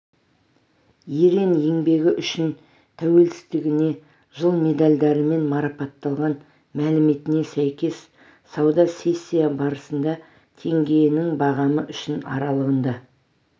ерен еңбегі үшін тәуелсіздігіне жыл медальдарымен марапатталған мәліметіне сәйкес сауда сессиясы барысында теңгенің бағамы үшін аралығында